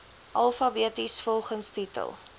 alfabeties volgens titel